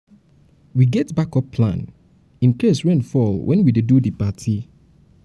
we get backup plan incase rain fall wen we dey do di party. party.